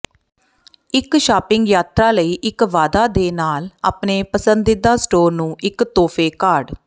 ਇੱਕ ਸ਼ਾਪਿੰਗ ਯਾਤਰਾ ਲਈ ਇੱਕ ਵਾਅਦਾ ਦੇ ਨਾਲ ਆਪਣੇ ਪਸੰਦੀਦਾ ਸਟੋਰ ਨੂੰ ਇੱਕ ਤੋਹਫ਼ੇ ਕਾਰਡ